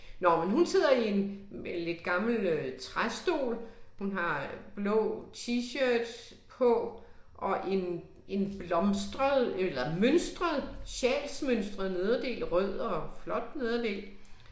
Nå men hun sidder i en lidt gammel øh træstol, hun har blå t-shirt på og en en blomstret eller mønstret, sjalsmønstret nederdel rød og flot nederdel